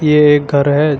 ये एक घर है।